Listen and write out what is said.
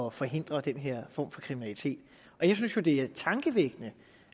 at forhindre den her form for kriminalitet jeg synes jo det er tankevækkende